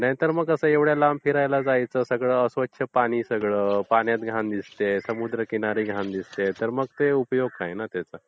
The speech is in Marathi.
नाहीतर मग कसं एवढ्या लांब फिरायला जायचं. सगळं अस्वच्छ पाणी सगळं, पाण्यात घाण दिसतेय, समुद्रकिनारी घाण दिसतेय, तर मग ते उपयोग नाही ना त्याचा.